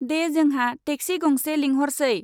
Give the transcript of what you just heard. दे जोंहा टेक्सि गंसे लेंहरसै।